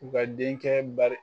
U ka denkɛ bari